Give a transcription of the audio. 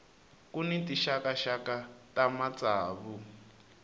ku ni tinxakaxaka ta matsavu